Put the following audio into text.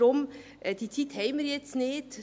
Diese Zeit haben wir jetzt nicht.